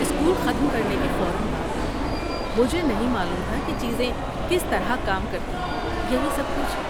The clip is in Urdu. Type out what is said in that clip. اسکول ختم کرنے کے فوراً بعد، مجھے نہیں معلوم تھا کہ چیزیں کس طرح کام کرتی ہیں، یہی سب کچھ۔